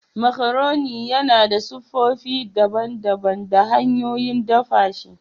Macaroni yana da siffofi daban-daban da hanyoyin dafa shi.